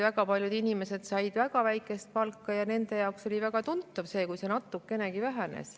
Väga paljud inimesed saavad väga väikest palka ja nende jaoks on väga tuntav isegi see, kui palk natukene väheneb.